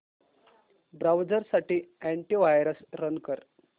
browser साठी antivirus run कर